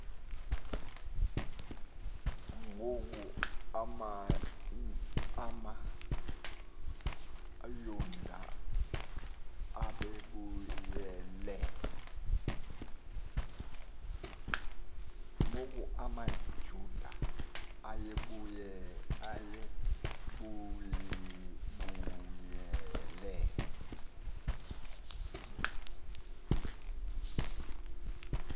ngoku amayuda ayebuyele